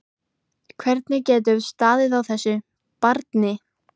Hvernig getur staðið á þessu. barni?